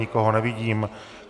Nikoho nevidím.